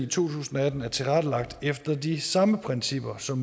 tusind og atten er tilrettelagt efter de samme principper som